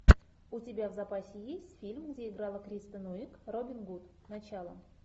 у тебя в запасе есть фильм где играла кристен уиг робин гуд начало